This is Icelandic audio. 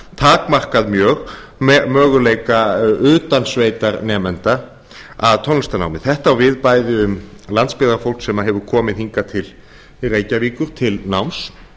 takmarkað mjög möguleika utansveitarnemenda að tónlistarnámi þetta á við bæði um landsbyggðarfólk sem hefur komið hingað til reykjavíkur til náms